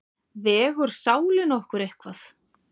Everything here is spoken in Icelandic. Vegur sálin okkar eitthvað?